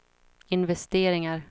investeringar